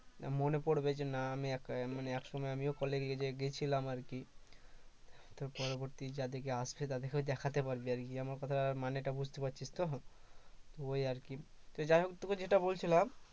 মনে পড়বে যে না আমিও একসময় college এ গিয়েছিলাম আর কি তো পরবর্তী যাদেরকে আসছে তাদেরকে দেখাতে পারবি আর কি আমার কথার মানেটা বুঝতে পারছিস তো ওই আরকি তো যাই হোক তোকে যেটা বলছিলাম